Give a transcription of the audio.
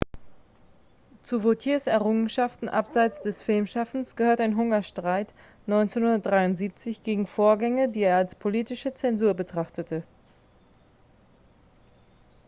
zu vautiers errungenschaften abseits des filmschaffens gehört ein hungerstreik 1973 gegen vorgänge die er als politische zensur betrachtete